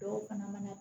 Dɔw fana mana